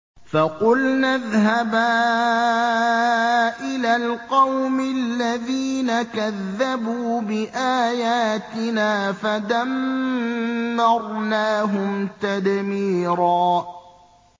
فَقُلْنَا اذْهَبَا إِلَى الْقَوْمِ الَّذِينَ كَذَّبُوا بِآيَاتِنَا فَدَمَّرْنَاهُمْ تَدْمِيرًا